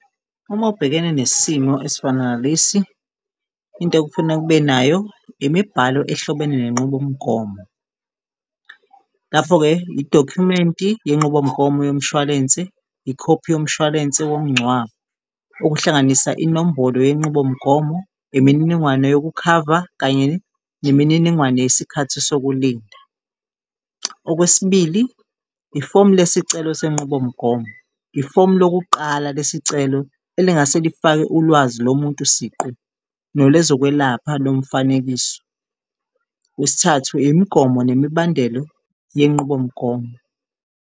Uma ubhekene nesimo esifana nalesi into ekufuna kube nayo imibhalo ehlobene nenqubomgomo. Lapho-ke, idokhumenti yenqubomgomo yomshwalense, ikhophi yomshwalense womngcwabo, okuhlanganisa inombolo yenqubomgomo, imininingwane yokukhava kanye nemininingwane yesikhathi sokulinda. Okwesibili, ifomu lesicelo senqubomgomo, ifomu lokuqala lesicelo elingase lifake ulwazi lomuntu siqu nolwezokwelapha lomfanekiso. Okwesithathu, imigomo nemibandelo yenqubomgomo.